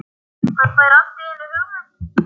Hann fær allt í einu hugmynd.